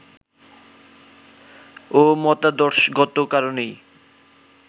ও মতাদর্শগত কারণেই